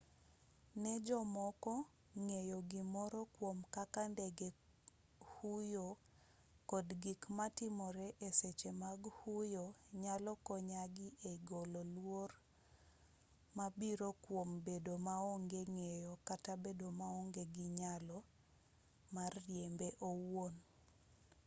ne jomoko ng'eyo gimoro kwom kaka ndege huyo kod gik matimore e seche mag huyo nyalo konyogi e golo luoro mabiro kwom bedo maonge ng'eyo kata bedo maonge gi nyalo mar riembe owuon